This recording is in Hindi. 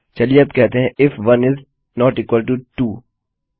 चलिए अब कहते हैं if 1 is not equal to 2